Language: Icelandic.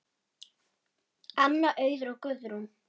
Anna, Auður og Guðrún.